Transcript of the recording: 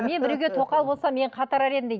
мен біреуге тоқал болсам мен қатырар едім дейді